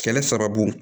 Kɛlɛ sababu